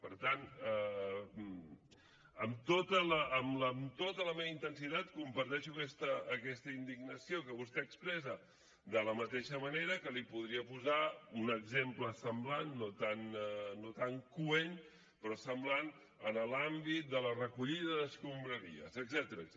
per tant amb tota la meva intensitat comparteixo aquesta indignació que vostè expressa de la mateixa manera que li’n podria posar un exemple semblant no tan coent però semblant en l’àmbit de la recollida d’escombraries etcètera